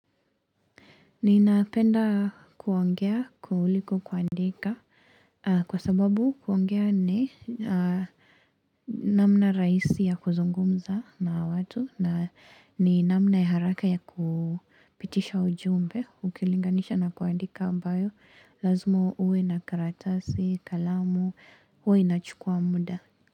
Ninapenda kuongea kuliko kuandika kwa sababu kuongea ni namna rahisi ya kuzungumza na watu na ni namna ya haraka ya kupitisha ujumbe ukilinganisha na kuandika ambayo lazima uwe na karatasi kalamu huwa inachukua muda.